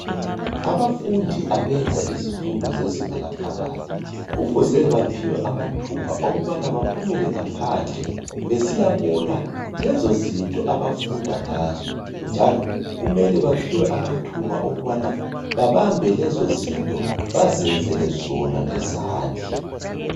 Abafundi abenza izifundo zezinga laphakathi. Kufuze baphiwe amathuba okubana baphumele ngaphandle besiyabona lezo zinto abafunda ngazo, njalo kumele baphiwe amathuba okubana babambe lezo zinto, baziyenzele zona ngezandla.